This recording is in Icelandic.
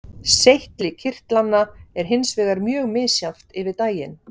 Seyti kirtlanna er hins vegar mjög misjafnt yfir daginn.